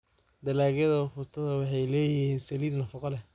Dalagyada ufuta waxay leeyihiin saliid nafaqo leh.